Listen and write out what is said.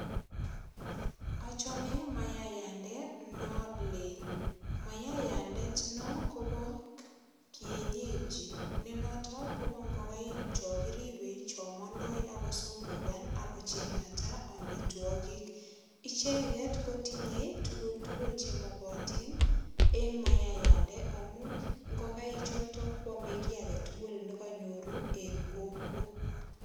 Achome mayayande nolel. Mayayandet no kobo kienyeji ne noto kobo ingokaik cho kiribei cho mondo ak kosungugan ak kochengat amitwogik. Icheget kotinyei tuguk tugul che mogotin eng mayayande amu ingogaichoto kwame kiy age tugul ne kanyor eng kokwo.